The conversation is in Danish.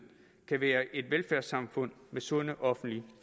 kan være et velfærdssamfund med sunde offentlige